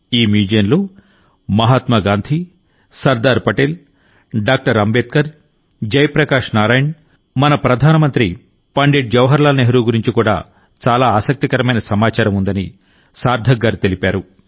ఈ మ్యూజియంలో మహాత్మా గాంధీ సర్దార్ పటేల్ డాక్టర్ అంబేద్కర్ జయ ప్రకాష్ నారాయణ్ మన ప్రధాన మంత్రి పండిట్ జవహర్లాల్ నెహ్రూ గురించి కూడా చాలా ఆసక్తికరమైన సమాచారం ఉందని సార్థక్ గారు తెలిపారు